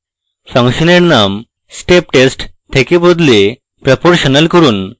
ফাংশনের name steptest থেকে বদলে proportional করুন